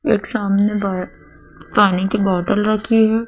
एक सामने बार पानी की बॉटल रखी है।